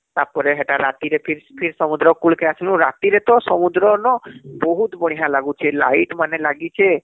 ତାପରେ ହେଟା ଫିର ଫିର ସମୁଦ୍ର କୁଲ କେ ଆସିଲୁ ,ରାତିରେ ତ ସମୁଦ୍ର ନ ବହୁତ ବଢିଆ ଲାଗୁଛେ light ମାନେ ଲାଗିଛେ